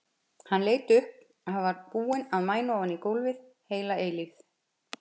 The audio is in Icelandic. Hann leit upp, hann var búinn að mæna ofan í gólfið heila eilífð.